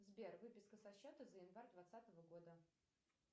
сбер выписка со счета за январь двадцатого года